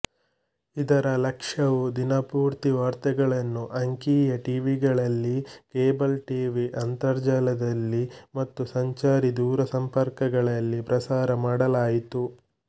ಇದರ ಲಕ್ಷ್ಯವು ದಿನಪೂರ್ತಿ ವಾರ್ತೆಗಳನ್ನು ಅಂಕೀಯ ಟಿವಿಗಳಲ್ಲಿ ಕೇಬಲ್ ಟಿವಿ ಅಂತರ್ಜಾಲದಲ್ಲಿ ಮತ್ತು ಸಂಚಾರೀ ದೂರಸಂಪರ್ಕಗಳಲ್ಲಿ ಪ್ರಸಾರ ಮಾಡಲಾಯಿತು